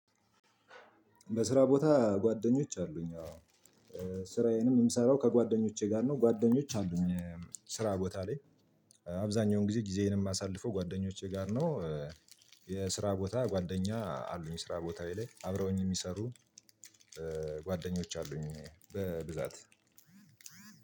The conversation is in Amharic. በስራ ቦታ ጓደኞች አሉኝ አዎ ስራዬንም የምሰራው ከጓደኞቼ ጋር ነው ጓደኞች አሉኝ ስራ ቦታ ላይ አብዛኛውን ጊዜ ጊዜዬን የማሳልፈው ጓደኞቼ ጋር ነው። የስራ ቦታ ጓደኛ አሉኝ ስራ ቦታዬ ላይ አብረውኝ የሚሰሩ ጓደኞች አሉኝ በብዛት